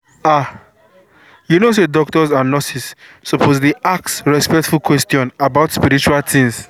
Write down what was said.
ah you know say doctors and nurses suppose dey ask respectful question about spiritual things.